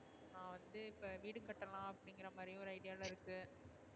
நா வந்து இப்ப வீடு கட்டலாம் அப்டிங்குறமாரி ஒரு idea ல இருக்கு,